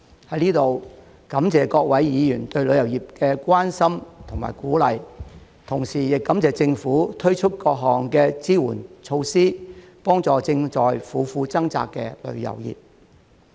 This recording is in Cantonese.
在此，感謝各位議員對旅遊業的關心和鼓勵，同時亦感謝政府推出各項支援措施，幫助正在苦苦掙扎的旅遊業。